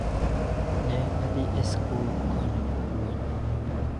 Ne adhi e skul konyo jopuony.